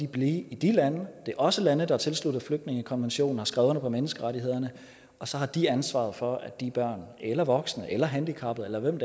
blive i de lande det er også lande der er tilsluttet flygtningekonventionen har skrevet under på menneskerettighederne og så har de ansvaret for at de børn eller voksne eller handicappede eller hvem